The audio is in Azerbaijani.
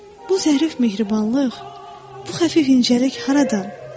Bu zərif mehribanlıq, bu xəfif incəlik haradan?